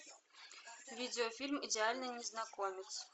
видеофильм идеальный незнакомец